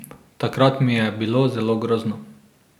Takrat mi je bilo zelo grozno.